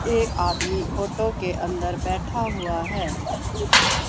एक आदमी ऑटो के अंदर बैठा हुआ है।